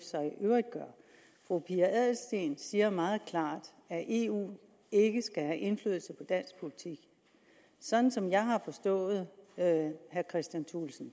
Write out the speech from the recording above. så i øvrigt gør fru pia adelsteen siger meget klart at eu ikke skal have indflydelse på dansk politik sådan som jeg har forstået herre kristian thulesen